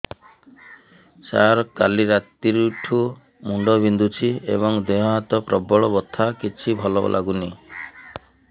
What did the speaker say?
ସାର କାଲି ରାତିଠୁ ମୁଣ୍ଡ ବିନ୍ଧୁଛି ଏବଂ ଦେହ ହାତ ପ୍ରବଳ ବଥା କିଛି ଭଲ ଲାଗୁନି